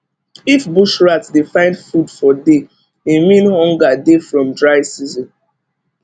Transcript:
if bush rat dey find food for day e mean hunger dey from dry season